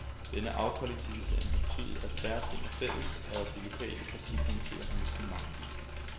Denne afkollektivisering har betydet, at færre ting er fælles, og at de lokale partikomitéer har mistet magt.